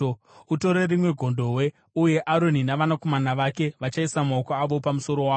“Utore rimwe gondobwe, uye Aroni navanakomana vake vachaisa maoko avo pamusoro waro.